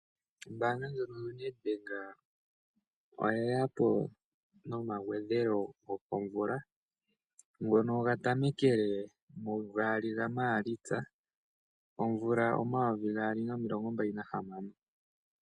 Ombanga yaNedbank oye yapo noma gwedhelo gokomvula ngono ga tamekele mu gali ga Maalitsa 2026.